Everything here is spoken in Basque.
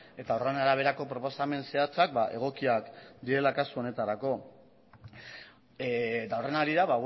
eta horren araberako proposamen zehatzak egokiak direla kasu honetarako eta horren harira